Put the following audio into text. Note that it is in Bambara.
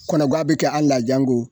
kɔnɔguwa be kɛ an' la janko